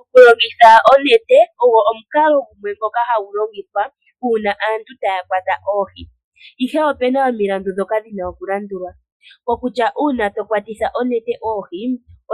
Okulongitha onete ogwo omukalo ngono hagu longithwa uuna aantu taya kwata oohi. Ihe opuna omilandu dhoka dhina okulandulwa, kokutya uuna tokwatitha onete oohi,